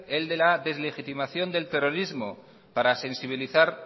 el de la deslegitimación del terrorismo para sensibilizar